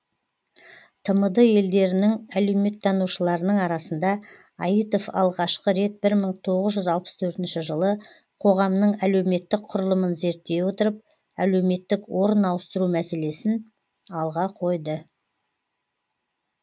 тмд елдерінің әлеуметтанушыларының арасында аитов алғашқы рет бір мың тоғыз жүз алпыс төртінші жылы қоғамның әлеуметтік құрылымын зерттей отырып әлеуметтік орын ауыстыру мәселесін алға қойды